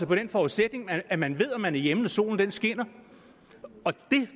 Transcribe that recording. på den forudsætning at at man ved om man er hjemme når solen skinner det